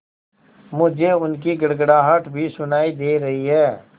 मुझे उनकी गड़गड़ाहट भी सुनाई दे रही है